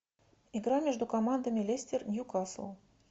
игра между командами лестер ньюкасл